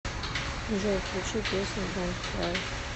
джой включи песня донт край